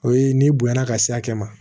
O ye n'i bonya na ka se hakɛ ma